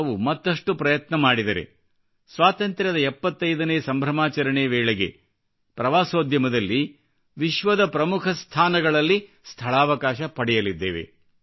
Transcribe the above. ನಾವು ಮತ್ತಷ್ಟು ಪ್ರಯತ್ನ ಮಾಡಿದರೆ ಸ್ವಾತಂತ್ರ್ಯದ 75 ನೇ ಸಂಭ್ರಮಾಚರಣೆ ವೇಳೆಗೆ ಪ್ರವಾಸೋದ್ಯಮದಲ್ಲಿ ವಿಶ್ವದ ಪ್ರಮುಖ ಸ್ಥಾನಗಳಲ್ಲಿ ಸ್ಥಳಾವಕಾಶ ಪಡೆಯಲಿದ್ದೇವೆ